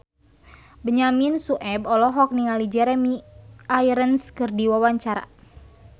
Benyamin Sueb olohok ningali Jeremy Irons keur diwawancara